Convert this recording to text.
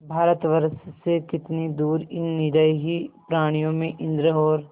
भारतवर्ष से कितनी दूर इन निरीह प्राणियों में इंद्र और